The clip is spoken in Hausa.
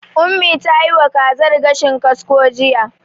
Ummi ta yiwa wa kazar gashin kasko jiya.